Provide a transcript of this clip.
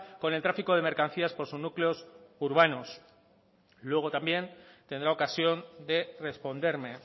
con el tráfico de mercancías por sus núcleos urbanos luego también tendrá ocasión de responderme